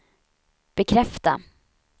bekräfta